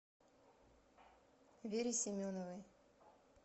вере семеновой